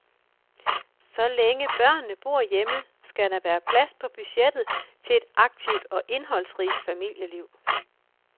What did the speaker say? Så længe børnene bor hjemme, skal der være plads på budgettet til et aktivt og indholdsrigt familieliv.